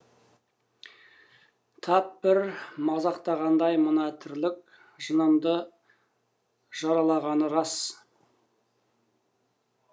тап бір мазақтағандай мына тірлік жанымды жаралағаны рас